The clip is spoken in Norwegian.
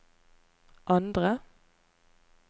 andre